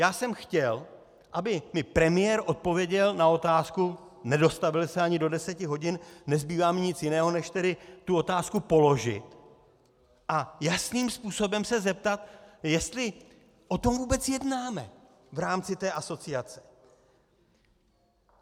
Já jsem chtěl, aby mi premiér odpověděl na otázku, nedostavil se ani do deseti hodin, nezbývá mi nic jiného než tedy tu otázku položit a jasným způsobem se zeptat, jestli o tom vůbec jednáme v rámci té asociace.